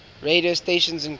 radio stations include